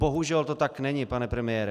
Bohužel to tak není, pane premiére.